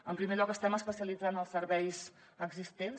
en primer lloc estem especialitzant els serveis existents